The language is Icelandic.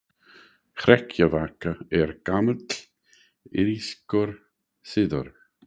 Hrekkjavaka er gamall írskur siður.